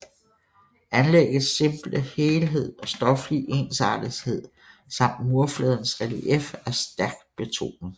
Anlæggets simple helhed og stoflige ensartethed samt murfladens relief er stærkt betonet